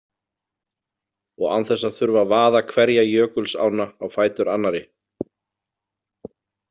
Og án þess að þurfa að vaða hverja jökulsánna á fætur annarri.